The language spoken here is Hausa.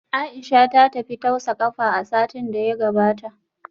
Aisha ta tafi tausa kafa a satin da ya gabata